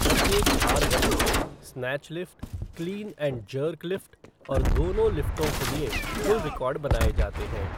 प्रत्येक भार वर्ग में snatch lift, clean and jerk lift और दोनों लिफ़्टों के लिए कुल रिकॉर्ड बनाए जाते हैं।